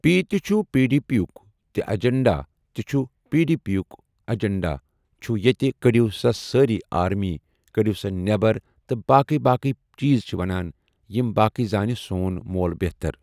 P تہِ چھُ P D P یُک تہِ ایٚجنٛڈا تہِ چھُ یی پی ڈی پی یُک ایجنڈا چھُ ییٚتہِ کٔڈِو سا سٲرٕے آرمی کٔڈِو سا نیبر تہٕ باقے باقے چیٖز چھِ وَنان یِم باقی زانہِ سون مول بہتر۔